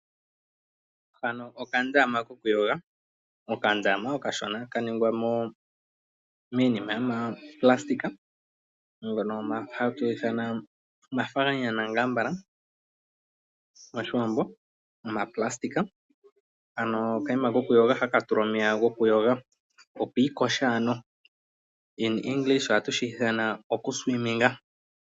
Hano okandama koku yoga. Okandama okashona ka ningwa miinima yomaplastic mbyono hatu ithana omafaganyana ambala moshiwambo omaplastic . Ano okayima koyoga haka tulwa omeya goku iiyoga.